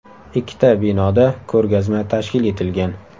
Ikkita binoda ko‘rgazma tashkil etilgan.